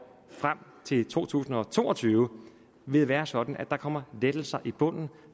frem til to tusind og to og tyve vil være sådan at der kommer lettelser i bunden